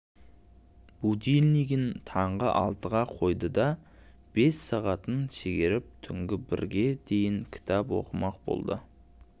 будильнигін таңғы алтыға қойды да бес сағатын шегеріп түнгі бірге дейін кітап оқымақ болды